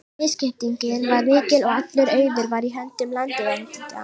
Misskiptingin var mikil og allur auður var í höndum landeigenda.